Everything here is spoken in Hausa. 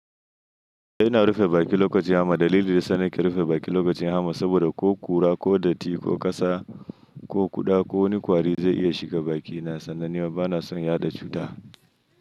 E ina rufe baki lokacin hamma. Dalili dayasa na ke rufe baki lokacin hamma. Saboda ko kura, ko datti, ko ƙasa, ko kuɗa, ko wani kwari zai iya shiga baki. Na sanna ni ma ba na son yaɗa cuta.